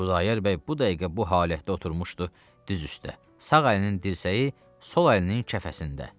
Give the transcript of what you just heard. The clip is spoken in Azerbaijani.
Xudayar bəy bu dəqiqə bu halətdə oturmuşdu düz üstə, sağ əlinin dirsəyi sol əlinin kəfəsində.